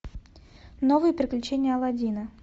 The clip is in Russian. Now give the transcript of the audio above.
новые приключения аладдина